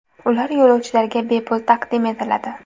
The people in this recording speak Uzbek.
Ular yo‘lovchilarga bepul taqdim etiladi .